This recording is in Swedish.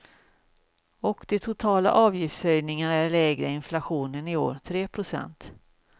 Och de totala avgiftshöjningarna är lägre än inflationen i år, tre procent.